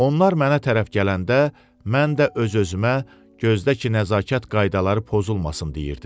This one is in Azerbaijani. Onlar mənə tərəf gələndə mən də öz-özümə gözdə ki nəzakət qaydaları pozulmasın deyirdim.